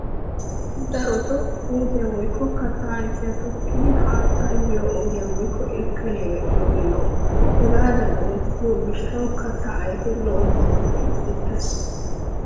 Darotoo puutiya woykko kattaa ayfiya tokkiiddi haattay biyo ogiya woykko irkkaniya medhdhiyoogee lo''o. Hegaadan oottido gishshawu kattaa ayfee lo'i muruti uttiis.